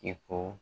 I ko